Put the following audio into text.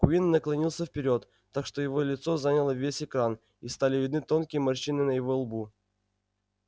куинн наклонился вперёд так что его лицо заняло весь экран и стали видны тонкие морщины на его лбу